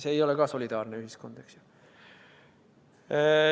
See ei ole ka solidaarne ühiskond.